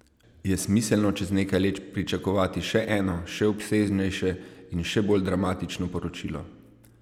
Je smiselno čez nekaj let pričakovati še eno, še obsežnejše in še bolj dramatično poročilo?